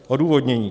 Odůvodnění.